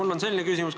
Mul on selline küsimus.